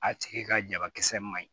A tigi ka jabakisɛ ma ɲi